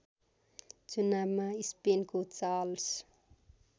चुनावमा स्पेनको चार्ल्स